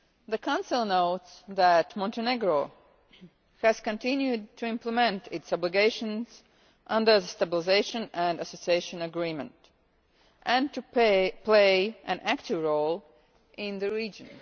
The Council notes that Montenegro has continued to implement its obligations under the Stabilisation and Association Agreement, and to play an active role in the region.